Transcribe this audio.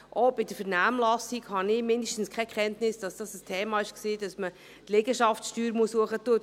Auch aus der Vernehmlassung habe ich zumindest keine Kenntnis, dass dies ein Thema gewesen wäre, dass man die Liegenschaftssteuer erhöhen müsste.